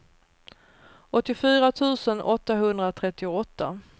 åttiofyra tusen åttahundratrettioåtta